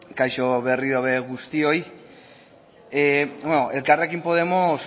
kaixo berriro ere guztioi elkarrekin podemos